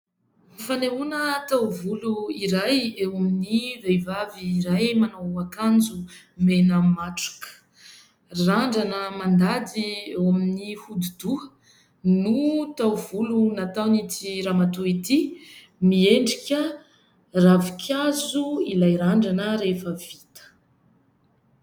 Fanehoana taovolo iray eo amin'ny vehivavy iray manao akanjo mena matroka. Randrana mandady eo amin'ny hodidoha no taovolo nataon'ity ramatoa ity. Miendrika ravin-kazo ilay randrana rehefa vita.